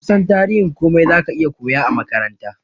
Kusan tarihin komai zaka iya koya a makaranta